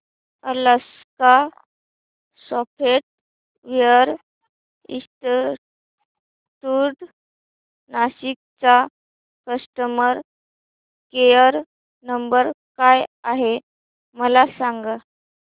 Alaska software institute Nashik चा customer care number काय आहे मला सांग